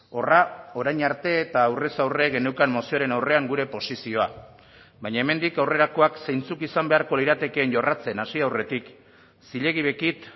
horra orain arte eta aurrez aurre geneukan mozioaren aurrean gure posizioa baina hemendik aurrerakoak zeintzuk izan beharko liratekeen jorratzen hasi aurretik zilegi bekit